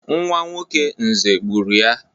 Nwa nwoke Nze gburu ya.